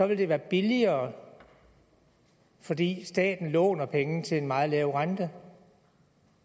det være billigere fordi staten låner penge til en meget lav rente